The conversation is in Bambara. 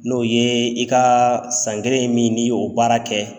N'o ye i ka san kelen min n'i y'o baara kɛ.